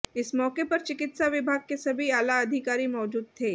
इस मौके पर चिकित्सा विभाग के सभी आला अधिकारी मौजूद थे